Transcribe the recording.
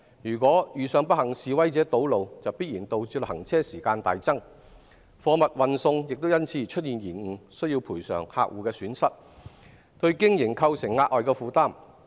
如不幸遇上示威者堵路，行車時間必然大增，貨物運送因而延誤，須賠償客戶損失，對經營構成額外負擔。